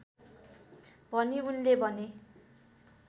भनी उनले भने